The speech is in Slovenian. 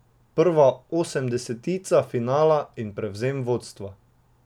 Prva osemdesetica finala in prevzem vodstva.